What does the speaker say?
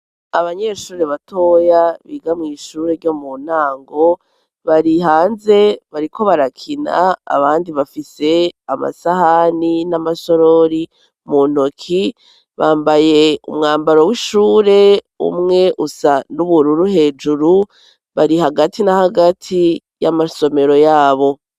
abanyeshuri batoya biga mw, ishure ryo mu ntango barihanze bariko barakina abandi bafise amasahani n'amasorori mu ntoki bambaye umwambaro w'ishure umwe usa n'ubururu hejuru bari hagati na hagati y'amasomero yabo